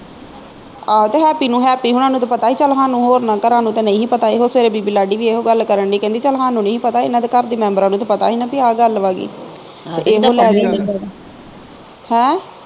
ਆਹੋ ਤੇ ਹੈਪੀ ਨੂੰ ਹੈਪੀ ਹੋਣਾ ਨੂੰ ਪਤਾ ਹੀ ਚੱਲ ਹਾਨੂੰ ਹੋਰਨਾਂ ਘਰਾਂ ਨੂੰ ਤੇ ਨਹੀਂ ਹੀ ਪਤਾ ਇਹੋ ਸਵੇਰੇ ਬੀਬੀ ਲਾਡੀ ਵੀ ਇਹੋ ਗੱਲ ਕਰਨ ਦੀ ਹੀ ਕਹਿੰਦੀ ਚੱਲ ਹਾਨੂੰ ਨੀ ਹੀ ਪਤਾ ਇਨ੍ਹਾਂ ਦੇ ਘਰ ਦੇ ਮੈਬਰਾਂ ਨੂੰ ਪਤਾ ਹੀ ਨਾ ਬਈ ਆਹ ਗੱਲ ਵਾ ਬੀ